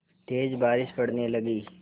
तेज़ बारिश पड़ने लगी